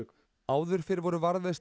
áður fyrr voru